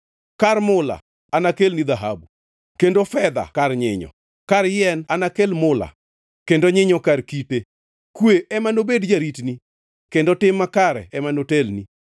Kar mula anakelni dhahabu kendo fedha kar nyinyo. Kar yien anakel mula kendo nyinyo kar kite. Kwe ema nobed jaritni kendo tim makare ema notelni.